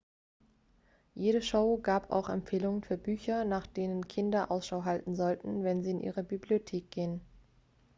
jede show gab auch empfehlungen für bücher nach denen kinder ausschau halten sollten wenn sie in ihre bibliothek gehen